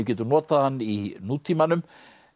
getum notað hann í nútímanum